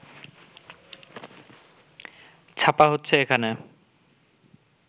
ছাপা হচ্ছে এখানে